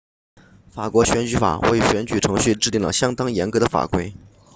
法国选举法为选举程序制订了相当严格的法规